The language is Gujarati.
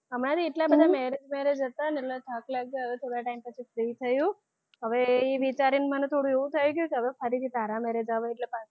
મારે એટલા બધાં marriage marriage હતાં ને એટલે થાક લાગ્યો હવે થોડાં time પછી free થયું હવે એ વિચારીને મને થોડું એવું થયું કે હવે ફરીથી તારા marriage આવે એટલે પાછુ,